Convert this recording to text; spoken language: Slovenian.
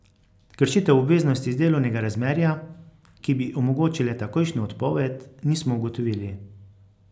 Kršitev obveznosti iz delovnega razmerja, ki bi omogočile takojšnjo odpoved, nismo ugotovili.